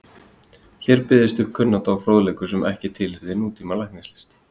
Hér byggðist upp kunnátta og fróðleikur sem ekki tilheyrði nútíma læknislist.